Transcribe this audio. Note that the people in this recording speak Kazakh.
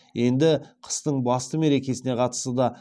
енді қыстың басты мекересіне қатысты да